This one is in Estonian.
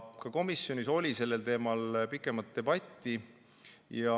Ka komisjonis oli sellel teemal pikem debatt.